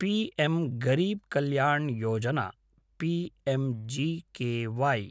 PM Garib Kalyan Yojana PMGKY